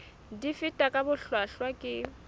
di fetwa ka bohlwahlwa ke